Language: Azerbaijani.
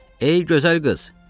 Ey gözəl qız!